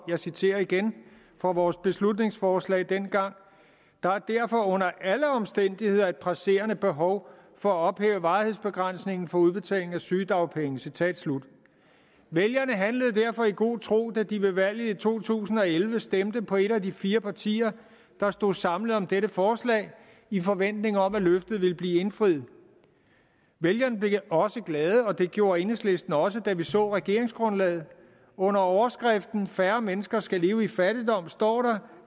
jeg citerer igen fra vores beslutningsforslag fra dengang der er derfor under alle omstændigheder et presserende behov for at ophæve varighedsbegrænsningen for udbetaling af sygedagpenge citat slut vælgerne handlede derfor i god tro da de ved valget i to tusind og elleve stemte på et af de fire partier der stod samlet om dette forslag i forventning om at løftet ville blive indfriet vælgerne blev også glade og det gjorde enhedslisten også da vi så regeringsgrundlaget under overskriften færre mennesker skal leve i fattigdom står der